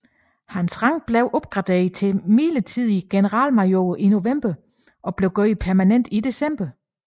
Hans rang blev opgraderet til midlertidig generalmajor i november og blev gjort permanent i december